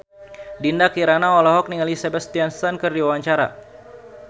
Dinda Kirana olohok ningali Sebastian Stan keur diwawancara